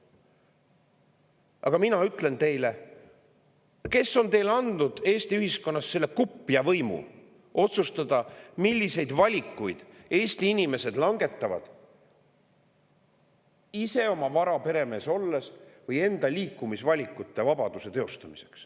Aga mina ütlen teile: kes on teile andnud Eesti ühiskonnas selle kupja võimu otsustada, milliseid valikuid Eesti inimesed langetavad, olles ise oma vara peremees või?